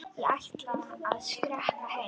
Ég ætla að skreppa heim.